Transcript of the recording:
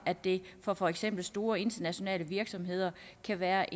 at det for for eksempel store internationale virksomheder kan være